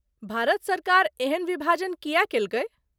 भारत सरकार एहन विभाजन किए कयलकै ?